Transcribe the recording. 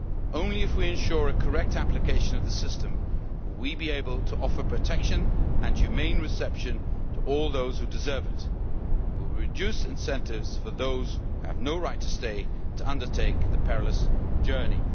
Only if we ensure correct application of the system will we be able to offer protection and humane reception to all those who deserve it, and we will reduce incentives for those who have no right to stay to undertake the perilous journey.